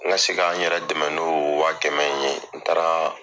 N ka se ka n yɛrɛ dɛmɛ n'oo waa kɛmɛ in ye n taaraa